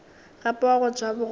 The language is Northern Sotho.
gape wa go ja bogobe